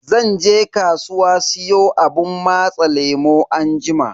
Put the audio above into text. Zan je kasuwa siyo abun matsa lemu anjima.